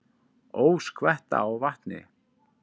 Ó, skvetta á vatni.